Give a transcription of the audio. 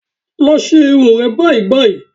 Lọ ṣe irun rẹ báyìí báyìí